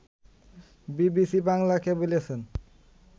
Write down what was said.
BBC বাংলাকে বলেছেন